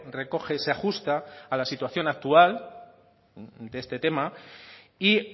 recoge se ajusta a la situación actual de este tema y